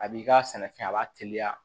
A b'i ka sɛnɛfɛn a b'a teliya